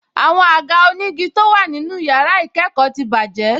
Àwọn àga onígi tó wà nínú yàrá ìkẹ́kọ̀ọ́ ti bàjẹ́